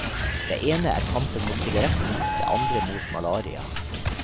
Det ene er kampen mot sigaretten, det andre mot malaria.